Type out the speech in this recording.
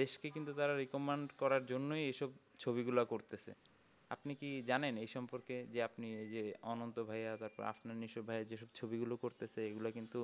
দেশকে কিন্তু তারা recommend করার জন্যই এই সব ছবি গুলা করতেছে আপনি কি জানেন এই সম্পর্কে যে আপনি এই যে অনন্ত ভাইয়া তারপর মিশো ভাইয়ার যেসব ছবি গুলো করতেছে এগুলা কিন্তু